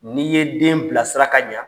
N'i ye den bilasira ka ɲa,